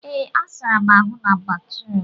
ee, sara m ahụ na batrum